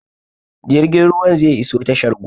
Jirgin ruwan zai iso tashar gobe